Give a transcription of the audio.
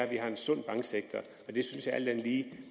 vi har en sund banksektor jeg synes alt andet lige